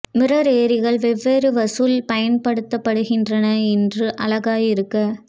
mirror ஏரிகள் வெவ்வேறு வசூல் பயன்படுத்தப்படுகின்றன என்று அழகாய் இருக்க